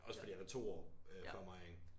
Også fordi han er 2 år før mig ikke